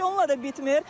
Təkcə onunla da bitmir.